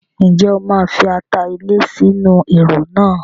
Ǹjẹ́ o máa fi ata ilẹ̀ sí inú Ẹ̀rọ̀ náà?